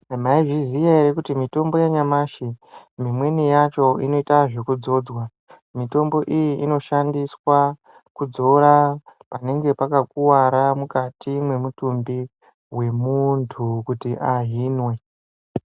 Maizviziya ere kuti mitombo ya nyamashi imweni yacho ino ita zveku dzodzwa mitombo iyi ino shandiswa ku dziura panenge paka kuvara mukati me mutumbi we muntu kuti ahinwe.